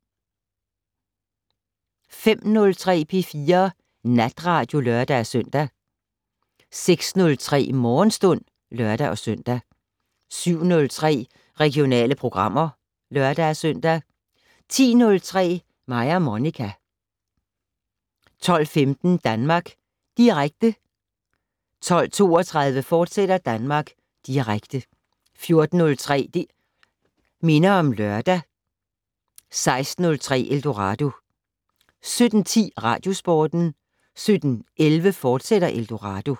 05:03: P4 Natradio (lør-søn) 06:03: Morgenstund (lør-søn) 07:03: Regionale programmer (lør-søn) 10:03: Mig og Monica 12:15: Danmark Direkte 12:32: Danmark Direkte, fortsat 14:03: Det' Minder om Lørdag 16:03: Eldorado 17:10: Radiosporten 17:11: Eldorado, fortsat